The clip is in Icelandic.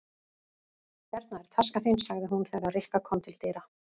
Hérna er taskan þín sagði hún þegar Rikka kom til dyra.